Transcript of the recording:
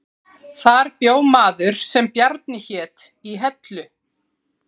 Þar bjó maður sem Bjarni hét í Hellu